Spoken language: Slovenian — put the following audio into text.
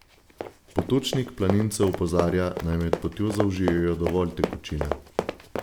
Potočnik planince opozarja, naj med potjo zaužijejo dovolj tekočine.